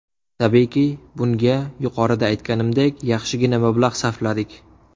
Tabiiyki, bunga yuqorida aytganimdek, yaxshigina mablag‘ sarfladik.